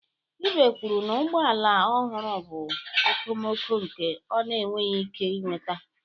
Ibe kwuru na ụgbọ ala ọhụrụ bụ okomoko nke ọ na-enweghị ike ị nweta.